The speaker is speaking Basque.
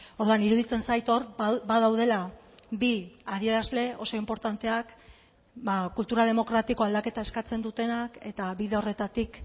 orduan iruditzen zait hor badaudela bi adierazle oso inportanteak kultura demokratiko aldaketa eskatzen dutenak eta bide horretatik